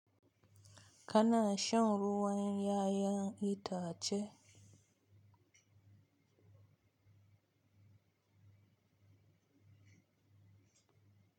Kana shan ruwan 'ya'yan itace?